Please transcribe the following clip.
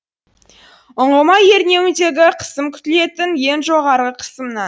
ұңғыма ернеуіндегі қысым күтілетін ең жоғарғы қысымнан